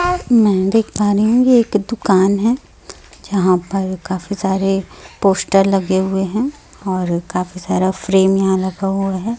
और मेहंदी एक दुकान है यहाँ पर काफी सारे पोस्टर लगे हुए है और काफी सारा फ्रेम यहाँ लगा हुआ हैं।